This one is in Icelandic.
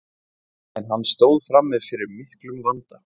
en hann stóð frammi fyrir miklum vanda